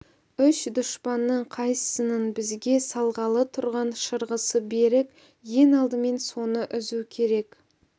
үш дұшпанның қайсысының бізге салғалы тұрған шырғысы берік ең алдымен соны үзу керек